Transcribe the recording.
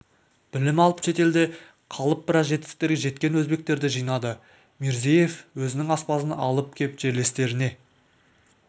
білім алып шетелде қалып біраз жетістіктерге жеткен өзбектерді жинады мирзиеев өзінің аспазын алып кеп жерлестеріне